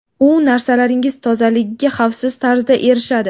U narsalaringiz tozaligiga xavfsiz tarzda erishadi.